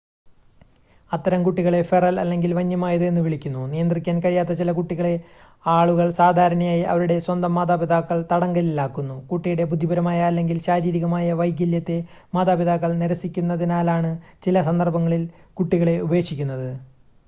"അത്തരം കുട്ടികളെ "ഫെറൽ" അല്ലെങ്കിൽ വന്യമായത് എന്ന് വിളിക്കുന്നു. നിയന്ത്രിക്കാൻ കഴിയാത്ത ചില കുട്ടികളെ ആളുകൾ സാധാരണയായി അവരുടെ സ്വന്തം മാതാപിതാക്കൾ തടങ്കലിലാക്കുന്നു; കുട്ടിയുടെ ബുദ്ധിപരമായ അല്ലെങ്കിൽ ശാരീരികമായ വൈകല്യത്തെ മാതാപിതാക്കൾ നിരസിക്കുന്നതിനാലാണ് ചില സന്ദർഭങ്ങളിൽ കുട്ടികളെ ഉപേക്ഷിക്കുന്നത്.